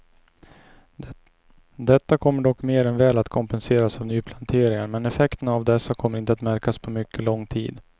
Detta kommer dock mer än väl att kompenseras av nyplanteringar men effekterna av dessa kommer inte att märkas på mycket lång tid.